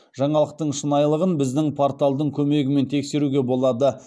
жаңалықтың шынайылығын біздің порталдың көмегімен тексеруге болады